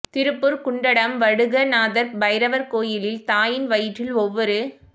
திருப்பூர் குண்டடம் வடுக நாதர் பைரவர் கோயிலில் தாயின் வயிற்றில் ஒவ்வொரு